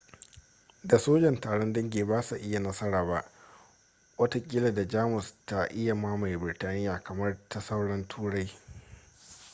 da sojan taron dangi ba su yi nasara ba watakila da jamus ta iya yi mamaye biritaniya kamar ta sauran turai